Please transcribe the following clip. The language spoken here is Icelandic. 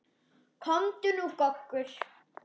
Komdu nú goggur!